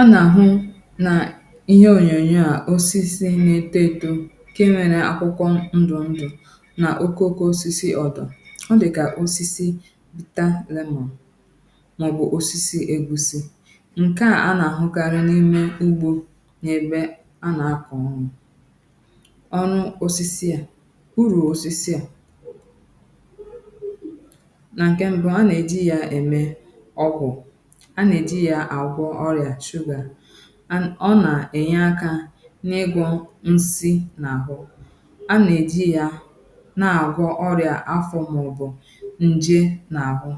a nà-àhụ nà ihe ònyònyò a osisi nà-eto edȯ ǹke nwèrè àkwụkwọ ndụ̀ ndụ̀ nà okooko osisi ọdà ọ dị̀ kà osisi bita lemon màọ̀bụ̀ osisi ègusi ǹke a nà-àhụkarị n’ime ugbȯ nà-ebe a nà-akọ̀ghị̀ ọnụ̇ ọ̀nụ osisi à urù osisi à nà ǹke mbụ a nà-èji ya ème ọbụ̀ ọ nà-ènye akȧ n’ịgọ̇ nsị nà àbụ̀ a nà-èji ya na àgwọ ọrị̀à afọ̇ hȧ ụ̀bọ̀ ǹjè nà àbụ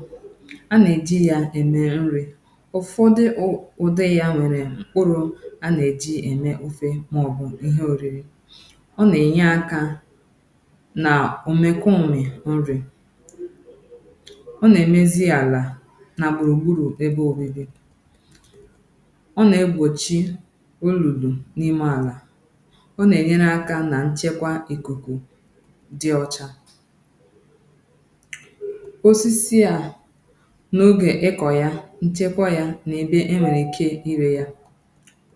a nà-èji ya èmè nrì ụ̀fọdị ụ̀ ụdị ya nwèrè mkpụrụ a nà-èji ya ème ofe màọbụ̀ ihe òriri ọ nà-ènye akȧ nà òmekòmri̇ nrì ọ nà-èmezi àlà nà gbùrùgburù ebe òbèdè ọ nà-egbòchi olùlù n’ime àlà ọ nà-ènyere akȧ nà nchekwa ìkùkù dị ọcha osisi à n’ogè ịkọ̀ ya nchekwa ya na-èbe e nwèrè ike irė ya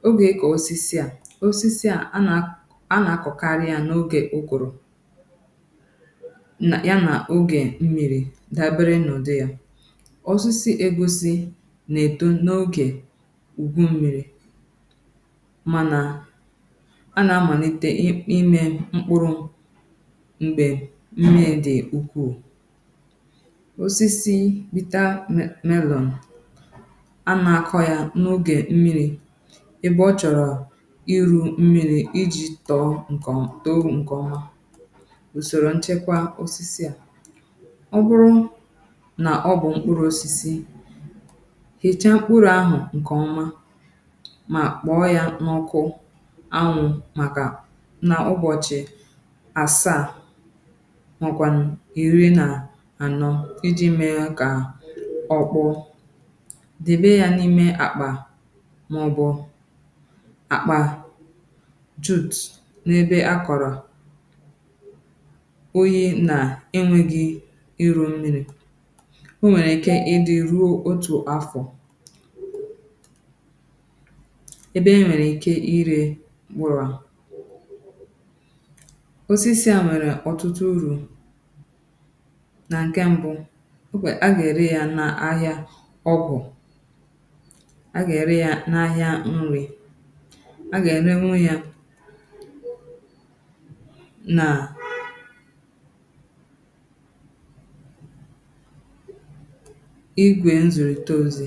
ogè ịkọ̀ osisi à osisi à a nà a nà-akọ̀karị ya n’ogè okwùrù ya nà ogè mmịrị̇ dàbere nnọ̀dụ ya ùwu mmi̇ri̇ mana a nà-amàlite n’imė mkpụrụ̇ m̀gbè mmìrì dị̀ ukwuù osisi bita melọn anà-àkọ yȧ n’ogè mmìrì ebe ọ chọ̀rọ̀ iru̇ mmìrì iji̇ tọ̀ọ ǹkè ọmà òsòrò nchekwa osisi à ọ bụrụ nà ọ bụ̀ mkpụrụ̇ osisi mà kpọọ ya n’ọkụ ànwū̇ màkà nà ụbọ̀chị̀ àsaa mọ kwànà iri nà anọ̇ idi mee kà ọ kpụ̇ debė ya n’ime àkpà màọbụ̀ àkpà tut n’ebe akọ̀rọ̀ oyi̇ nà enwėghi̇ ịrụ̇ mmìrì o nwèrè ike ịdị̇ ruo otù afọ̀ ebe enwèrè ike irė gbùrù osisi à nwèrè ọ̀tụtụ urù nà ǹkè mbụ̇ okwè agà-ère ya n’ahìà ọgwụ̀ agà-ère ya n’ahìà nrì agà-enenwu ya nà foto